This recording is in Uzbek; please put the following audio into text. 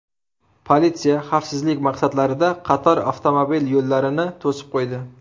Politsiya xavfsizlik maqsadlarida qator avtomobil yo‘llarini to‘sib qo‘ydi.